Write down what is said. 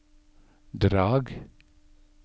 Drag